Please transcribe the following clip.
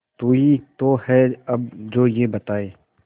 तू ही तो है अब जो ये बताए